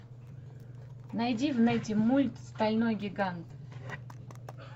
найди в нете мульт стальной гигант